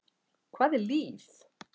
Hvað er líf?